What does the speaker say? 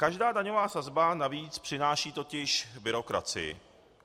Každá daňová sazba navíc přináší totiž byrokracii.